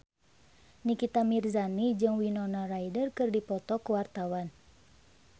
Nikita Mirzani jeung Winona Ryder keur dipoto ku wartawan